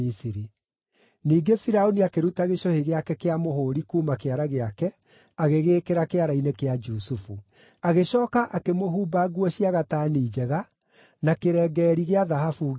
Ningĩ Firaũni akĩruta gĩcũhĩ gĩake kĩa mũhũũri kuuma kĩara gĩake agĩgĩĩkĩra kĩara-inĩ kĩa Jusufu. Agĩcooka akĩmũhumba nguo cia gatani njega, na kĩrengeeri gĩa thahabu ngingo.